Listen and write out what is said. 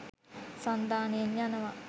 සන්ධානයෙන් යනවා.